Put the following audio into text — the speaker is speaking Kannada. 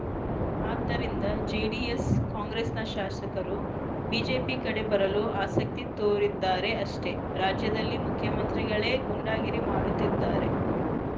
ಆದ್ದರಿಂದ ಜೆಡಿಎಸ್‌ ಕಾಂಗ್ರೆಸ್‌ನ ಶಾಸಕರು ಬಿಜೆಪಿ ಕಡೆ ಬರಲು ಆಸಕ್ತಿ ತೋರಿದ್ದಾರೆ ಅಷ್ಟೆ ರಾಜ್ಯದಲ್ಲಿ ಮುಖ್ಯಮಂತ್ರಿಗಳೇ ಗೂಂಡಾಗಿರಿ ಮಾಡುತ್ತಿದ್ದಾರೆ